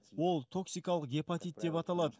ол токсикалық гепатит деп аталады